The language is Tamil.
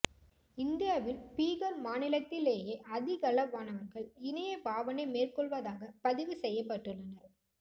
இந்தியாவில் பீகார் மாநிலத்திலேயே அதிகளவானவர்கள் இணையப் பாவனை மேற்கொள்வதாக பதிவு செய்யப்பட்டுள்ளனர்